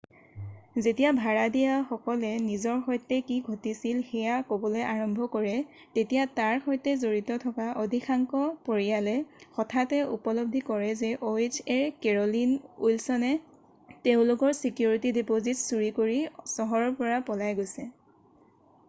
যেতিয়া ভাড়াতীয়াসকলে নিজৰ সৈতে কি ঘটিছিল সেয়া ক'বলৈ আৰম্ভ কৰে তেতিয়া তাৰ সৈতে জড়িত থকা অধিকাংশ পৰিয়ালে হঠাতে উপলব্ধি কৰে যে ohaৰ কেৰ'লিন উইলছনে তেওঁলোকৰ ছিকিউৰিটি ডিপ'জিট চুৰি কৰি চহৰৰ পৰা পলাই গৈছে।